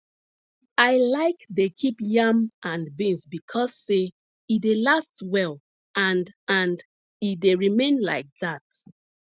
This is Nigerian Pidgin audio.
i like dey keep yam and beans becos say e dey last well and and e dey remain like that